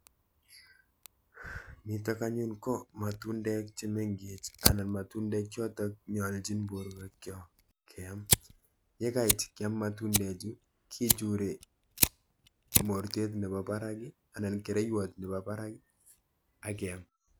Nitok anyun ko matundek chemenkech anan matundek chotok nyolchin borwekchok keam. Yekait kyam matundechu kichure mortet nepo barak anan kereiwot nepo barak akeam.